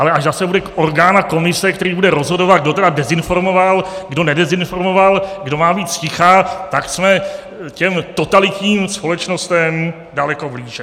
Ale až zase bude orgán a komise, která bude rozhodovat, kdo tedy dezinformoval, kdo nedezinformoval, kdo má být zticha, tak jsme těm totalitním společnostem daleko blíže.